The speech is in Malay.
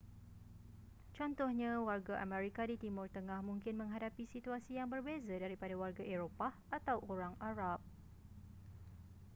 contohnya warga amerika di timur tengah mungkin menghadapi situasi yang berbeza daripada warga eropah atau orang arab